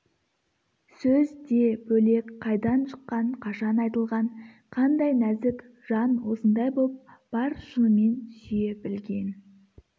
сөз де бөлек қайдан шыққан қашан айтылған қандай нәзік жан осындай боп бар шынымен сүйе білген